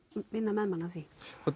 vinna með manni að því